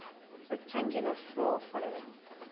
rectangular floor following